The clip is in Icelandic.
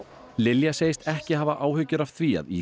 Lilja segist ekki hafa áhyggjur af því að í